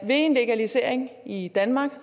en legalisering i danmark